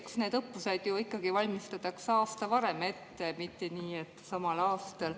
Eks need õppused ju ikka valmistatakse aasta varem ette, mitte nii, et samal aastal.